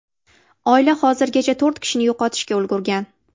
Oila hozirgacha to‘rt kishini yo‘qotishga ulgurgan.